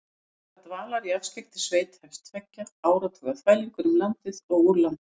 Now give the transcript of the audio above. Í stað dvalar í afskekktri sveit hefst tveggja áratuga þvælingur um landið og úr landi.